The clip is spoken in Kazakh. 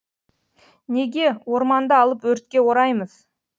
неге орманды алып өртке ораймыз